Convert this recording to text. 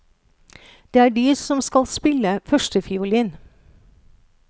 Det er de som skal spille førstefiolin.